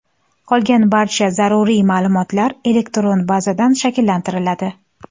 Qolgan barcha zaruriy ma’lumotlar elektron bazadan shakllantiriladi.